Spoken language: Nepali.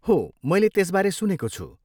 हो, मैले त्यसबारे सुनेको छु।